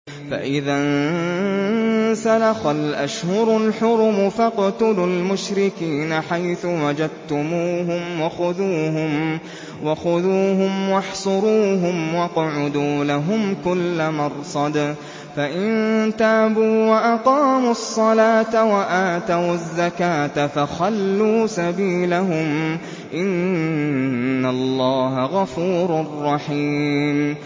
فَإِذَا انسَلَخَ الْأَشْهُرُ الْحُرُمُ فَاقْتُلُوا الْمُشْرِكِينَ حَيْثُ وَجَدتُّمُوهُمْ وَخُذُوهُمْ وَاحْصُرُوهُمْ وَاقْعُدُوا لَهُمْ كُلَّ مَرْصَدٍ ۚ فَإِن تَابُوا وَأَقَامُوا الصَّلَاةَ وَآتَوُا الزَّكَاةَ فَخَلُّوا سَبِيلَهُمْ ۚ إِنَّ اللَّهَ غَفُورٌ رَّحِيمٌ